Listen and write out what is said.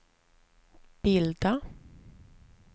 bilda